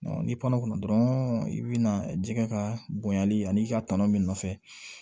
ni kɔnɔ kun dɔrɔn i bi na jɛgɛ ka bonyali ani i ka tɔnɔ min nɔfɛ